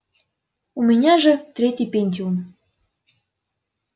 у меня же третий пентиум